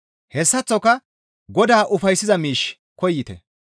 Hessaththoka Godaa ufayssiza miish koyite.